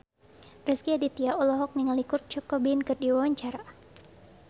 Rezky Aditya olohok ningali Kurt Cobain keur diwawancara